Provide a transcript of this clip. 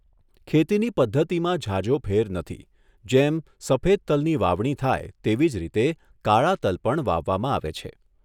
ખેતીની પદ્ધતિમાં ઝાઝો ફેર નથી જેમ સફેદ તલની વાવણી થાય તેવી જ રીતે કાળા તલ પણ વાવવામાં આવે છે.